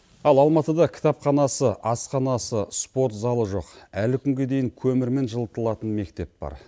ал алматыда кітапханасы асханасы спорт залы жоқ әлі күнге дейін көмірмен жылытылатын мектеп бар